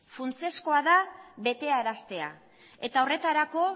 funtsezkoa da betearaztea eta horretarako